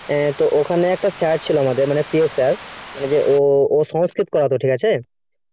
তো ওখানে একটা sir ছিল আমাদের মানে প্রিয় sir মানে যে ও ও সংস্কৃত পড়াতো ঠিক আছে